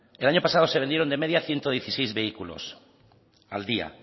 el año pasado se vendieron de media ciento dieciséis vehículos al día